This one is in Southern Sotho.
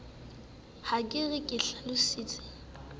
ha ke re ke hlalositse